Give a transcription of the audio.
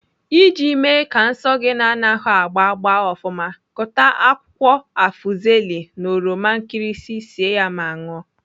Iji mee ka nsọ gị na-anahụ agba gbaa ofụma, kụta akwụkwọ afzeli na oroma nkirisi sie ya ma ṅụọ.